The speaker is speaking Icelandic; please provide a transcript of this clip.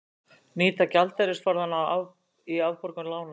Nýta gjaldeyrisforðann í afborgun lána